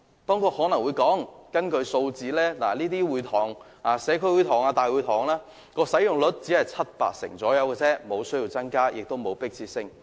當局可能會說，根據數字顯示，這些社區會堂或大會堂的使用率只是七八成左右，所以沒有增加的需要，亦沒有迫切性。